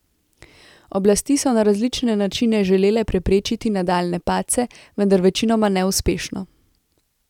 Oblasti so na različne načine želele preprečiti nadaljnje padce, vendar večinoma neuspešno.